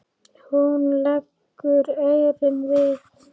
Hún leggur eyrun við.